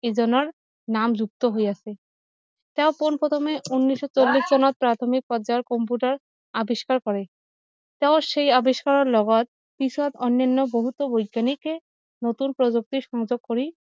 এইজনৰ নাম যুক্ত হৈ আছে তেওঁ পোন প্ৰথমে ঊনৈশ চল্লিশ চনত প্ৰাৰ্থমিক পৰ্যায়ত কম্পিউটাৰ আৱিষ্কাৰ কৰে তেওঁৰ সেই আৱিষ্কাৰ লগত পিছত অন্যান্য বহুতো বৈজ্ঞানিক নতুন প্ৰযুক্তিৰ সংযোগ কৰি